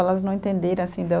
Elas não entenderem assim da.